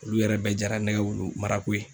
Olu yɛrɛ bɛɛ jara ne ga wulu marako ye